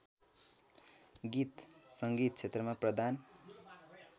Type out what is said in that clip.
गीत सङ्गीत क्षेत्रमा प्रदान